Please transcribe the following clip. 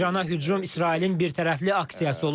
İrana hücum İsrailin birtərəfli aksiyası olub.